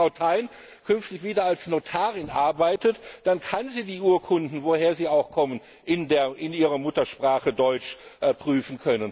Wenn also Frau Thein künftig wieder als Notarin arbeitet, dann kann sie die Urkunden woher sie auch kommen in ihrer Muttersprache Deutsch prüfen.